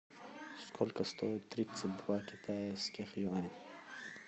сколько стоит тридцать два китайских юаня